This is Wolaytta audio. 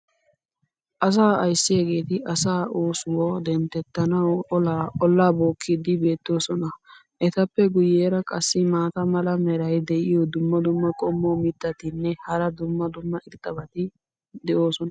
Asaa ayssiyaageeti asaa oosuwa dentettanawu olaa bookkiidi beetosona. etappe guyeera qassi maata mala meray diyo dumma dumma qommo mitattinne hara dumma dumma irxxabati de'oosona.